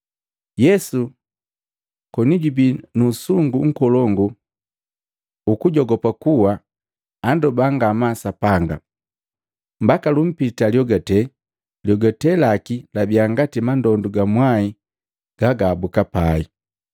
Yesu koni jubii mu usungu nkolongu ukujogopa kuwa, andoba ngamaa Sapanga, mbaka lumpita lyogate, lyogate laki labia ngati mandondu ga mwai gagahabuka pai.